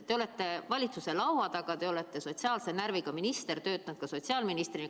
Te olete valitsuse laua taga, te olete sotsiaalse närviga minister, töötanud sotsiaalministrina.